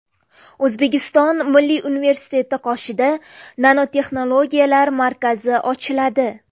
O‘zbekiston Milliy universiteti qoshida Nanotexnologiyalar markazi ochiladi.